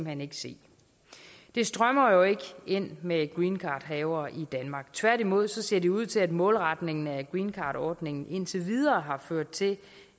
hen ikke se det strømmer jo ikke ind med greencardhavere i danmark tværtimod ser det ud til at målretningen af greencardordningen indtil videre har ført til